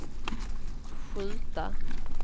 skjuta